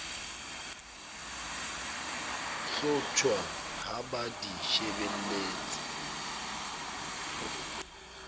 hlotjhwa ha ba di shebelletse